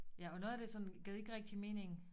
Ja og noget af det sådan gav ikke rigtig mening